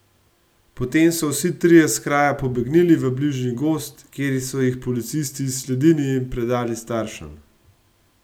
Potem so vsi trije s kraja pobegnili v bližnji gozd, kjer so jih policisti izsledili in predali staršem.